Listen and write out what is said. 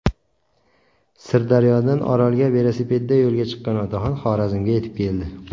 Sirdaryodan Orolga velosipedda yo‘lga chiqqan otaxon Xorazmga yetib keldi.